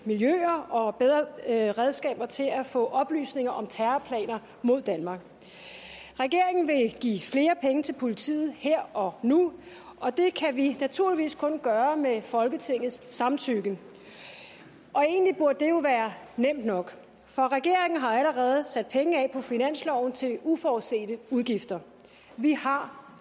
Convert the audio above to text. miljøer og bedre redskaber til at få oplysninger om terrorplaner mod danmark regeringen vil give flere penge til politiet her og nu og det kan vi naturligvis kun gøre med folketingets samtykke egentlig burde det jo være nemt nok for regeringen har allerede sat penge af på finansloven til uforudsete udgifter vi har